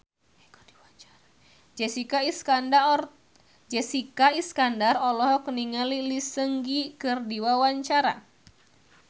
Jessica Iskandar olohok ningali Lee Seung Gi keur diwawancara